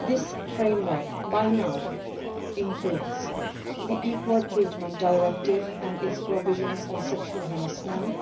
This framework now includes the Equal Treatment Directive and its provisions on sexual harassment,